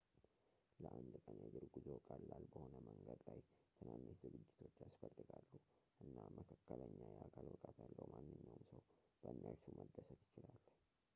ለአንድ ቀን የእግር ጉዞ ቀላል በሆነ መንገድ ላይ ትናንሽ ዝግጅቶች ያስፈልጋሉ እና መካከለኛ የአካል ብቃት ያለው ማንኛውም ሰው በእነርሱ መደሰት ይችላል